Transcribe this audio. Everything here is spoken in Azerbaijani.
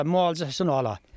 hə müalicəsini ala.